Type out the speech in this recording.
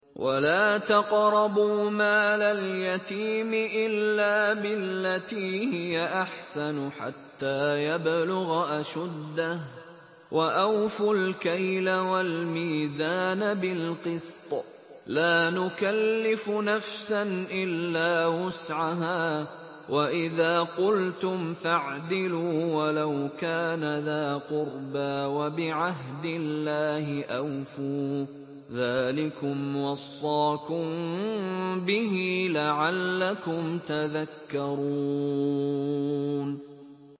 وَلَا تَقْرَبُوا مَالَ الْيَتِيمِ إِلَّا بِالَّتِي هِيَ أَحْسَنُ حَتَّىٰ يَبْلُغَ أَشُدَّهُ ۖ وَأَوْفُوا الْكَيْلَ وَالْمِيزَانَ بِالْقِسْطِ ۖ لَا نُكَلِّفُ نَفْسًا إِلَّا وُسْعَهَا ۖ وَإِذَا قُلْتُمْ فَاعْدِلُوا وَلَوْ كَانَ ذَا قُرْبَىٰ ۖ وَبِعَهْدِ اللَّهِ أَوْفُوا ۚ ذَٰلِكُمْ وَصَّاكُم بِهِ لَعَلَّكُمْ تَذَكَّرُونَ